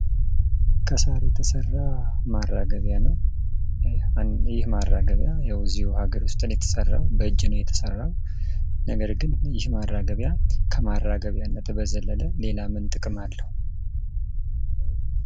ከሳር የተሰራ ማራገቢያ ነው። ይህ ማራገቢያ ሀገር ውስጥ ነው የተሰራው በእጅ ነው የተሰራው። ነገር ግን ከማራገቢያነት በዘለለ ምን ጥቅም አለው።